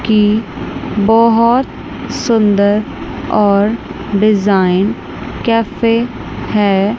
की बहोत सुंदर और डिजाइन कैफे हैं।